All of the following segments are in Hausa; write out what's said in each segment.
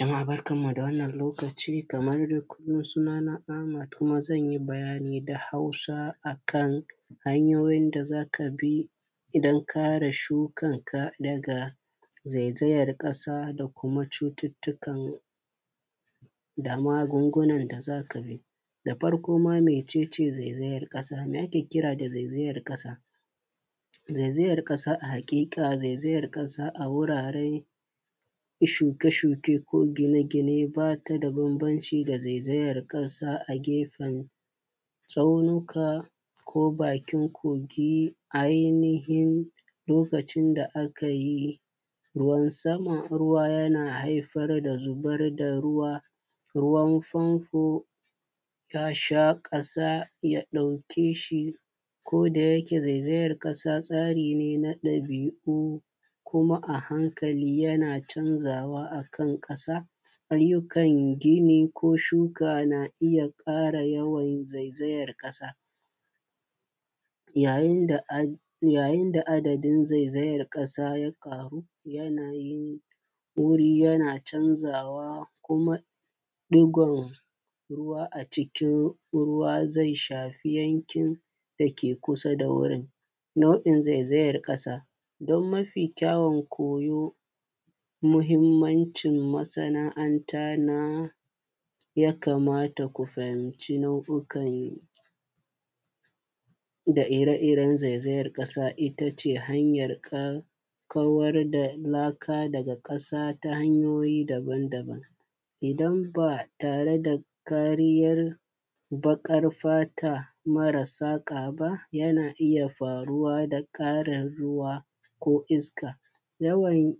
Jama’a barka da wannan lokaci kaman dai kullun suna na Ahmad kuma zan yi bayani da Hausa yanda za ka bi don kare shukar ka daga zaizayar ƙasa da kuma magunguna da za ka bi, da farko ma mece ce zaizayar ƙasa me ake kira zaizayar ƙasa? Zaizayar ƙasa a wuraren shuke-shuke da gine-gine ba ta da bambanci da zaizayar ƙasa a gefen tsaunuka ko bakin kogi, lokacin da aka yi ruwan sama ruwa yana haifar da zubar da ruwa kodayake zaizayar ƙasa tsari ne na dabi’u amma a hankali yana canzawa akan ƙasa, ayyukan gini ko shuka na iya ƙara yawan zaizayar ƙasa yayin da adadin zaizayar ƙasa ya ƙaru yanayin wuri yana canzawa kuma digan ruwa a cikin zai shafi yankin da ke kusa da wurin. Nau’in zaizayar ƙasa don mafi kyawun koyo, muhimmancin masana’anta na ya kamata ku fahimci na’uka da ire-iren zaizayar ƙasa, ita ce hanyar kawar da laka daga ƙasa ta hanyoyi daban-daban idan ba tare da kariyar baƙar fata mare saka ba yana iya faruwa da ƙarin ruwa ko iska, yawan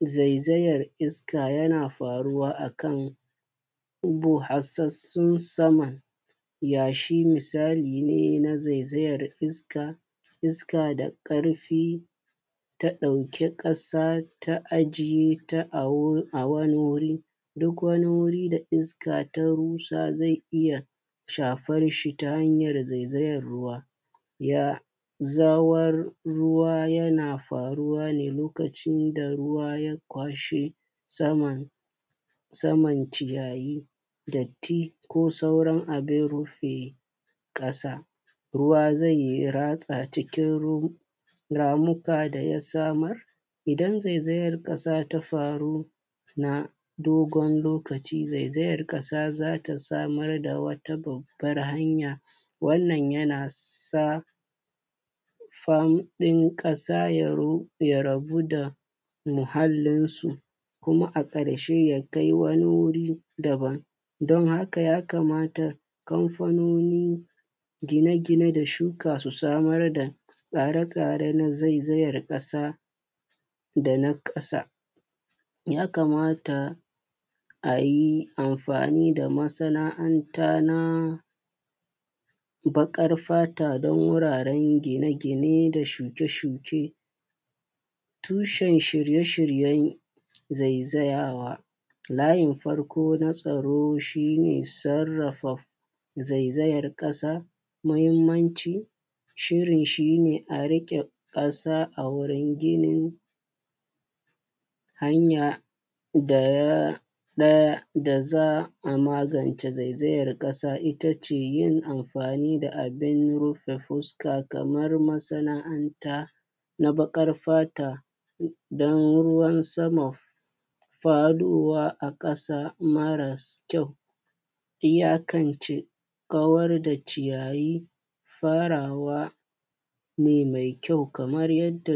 zaizayar ƙasa na faruwa akan busassun saman yashi, misali ne na zaizayar iska da ƙarfi ta ɗauki wani ƙasa ta ajiye a wani wuri. Duk wani wuri da iska ta rushe zai iya shafan shi ta hanyan zaizayan ruwa, yana faruwa ne lokacin da ruwa ya kwashe saman ciyayi, datti ko sauran abun rufe ƙasa. Ruwa zai ratsa cikin ramuka da ya samar idan zaizayan ƙasa ta faru na dogon lokaci za ta samar da wata babban hanya, wannan yana sa faɗin ƙasa ya ragu da muhallin su kuma a ƙarshe ya kai wani wuri daban don haka ya kamata kamfanonin shuka da gine-gine su samar da tsare-tsare na zaizayar ƙasa ya kamata a yi amfani da masanaanta na bakar fata don wuraren shuke-shuke da gine-gine, tushen shirye-shiryen zaizayawa layin farko na tsaro shi ne sarraf zaizayan ƙasa na da muhimmanci. Shirin shi ne a riƙe ƙasa a wurin ginin hanya na ɗaya da za a magance zaizayan ƙasa ita ce yin amfani da abun rufe fuska kaman masananta na baƙar fata don ruwan sama faɗowa ƙasa mare kyau iyakance kawar da ciyayi farawa ne mai kyau kamar yadda.